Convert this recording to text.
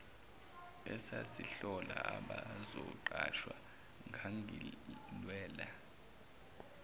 esasihlola abazoqashwa ngangilwela